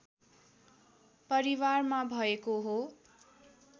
परिवारमा भएको हो